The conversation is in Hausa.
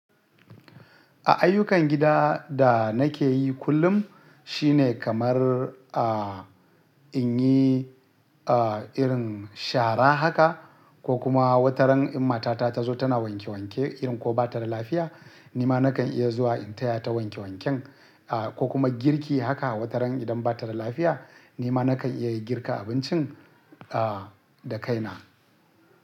A ayyukan gida da nake yi kullum shine kamar, a, in yi, a, irin shara haka ko kuma wataran in matata tazo tana wanke wanke irin ko bata da lafiya, ni ma nakan iya zuwa in taya ta wanke wanken, a, ko kuma girki haka wataran idan bata da lafiya ni ma nakan iya girka abincin, a, da kaina.